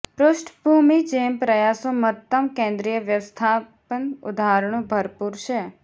પૃષ્ઠભૂમિ જેમ પ્રયાસો મહત્તમ કેન્દ્રિય વ્યવસ્થાપન ઉદાહરણો ભરપૂર છે